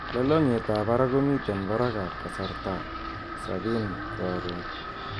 Lolongiet ab barak komiten barak ab kasarta sabin karon